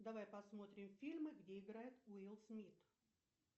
давай посмотрим фильмы где играет уилл смит